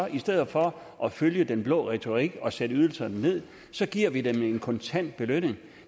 i stedet for at følge den blå retorik og sætte ydelserne ned giver vi dem en kontant belønning